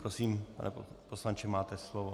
Prosím, pane poslanče, máte slovo.